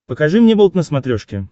покажи мне болт на смотрешке